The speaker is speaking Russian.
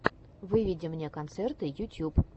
выведи мне концерты ютьюб